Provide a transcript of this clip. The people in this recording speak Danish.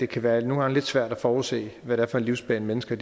kan være lidt svært at forudse hvad det er for en livsbane mennesker